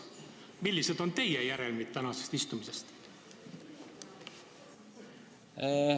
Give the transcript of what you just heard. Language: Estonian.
Millised on teie järeldused tänasest istungist?